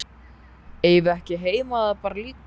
Eigum við ekki heima þar bara líka?